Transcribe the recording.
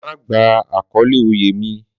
Má gba àkọ́lé oyè mi.